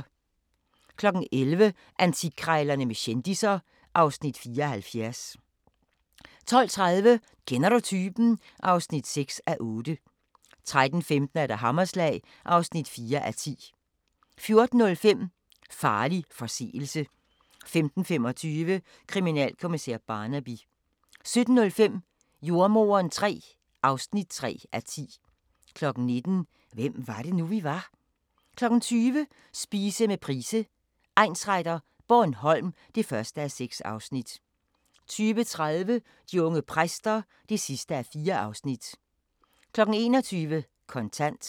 11:00: Antikkrejlerne med kendisser (Afs. 74) 12:30: Kender du typen? (6:8) 13:15: Hammerslag (4:10) 14:05: Farlig forseelse 15:25: Kriminalkommissær Barnaby 17:05: Jordemoderen III (3:10) 19:00: Hvem var det nu, vi var? 20:00: Spise med Price, egnsretter: Bornholm (1:6) 20:30: De unge præster (4:4) 21:00: Kontant